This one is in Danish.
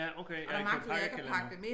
Ja okay han gav pakkekalender